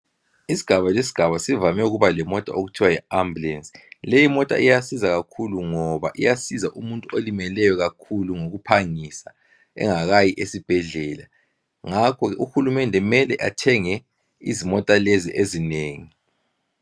Isigaba lesigaba sivame ukuba lemota okuthiwa yiambulance. Leyi imota iyasiza kakhulu ngoba iyasiza umuntu olimeleyo kakhulu ngokuphangisa engakayi esibhedlela. Ngakho uhulumende kumele athenge izimota lezi ezinengi.